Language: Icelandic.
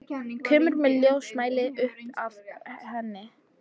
Kemur með ljósmæli upp að henni.